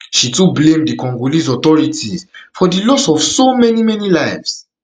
she too blame di congolese authorities for di loss of so many many lives